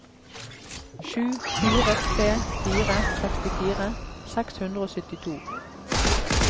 sju fire tre fire sekstifire seks hundre og syttito